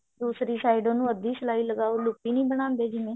ਦੂਸਰੀ side ਉਹਨੂੰ ਅੱਧੀ ਸਲਾਈ ਲਗਾਓ ਲੁਪੀ ਨੀ ਬਣਾਉਂਦੇ ਜਿਵੇਂ